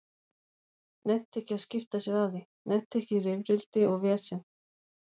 Nennti ekki að skipta sér af því, nennti ekki í rifrildi og vesen.